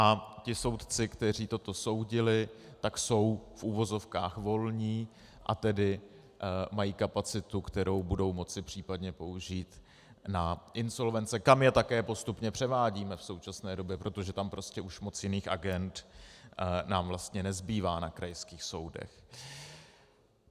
A ti soudci, kteří toto soudili, tak jsou v uvozovkách volní, a tedy mají kapacitu, kterou budou moci případně použít na insolvence, kam je také postupně převádíme v současné době, protože tam prostě už moc jiných agend nám vlastně nezbývá na krajských soudech.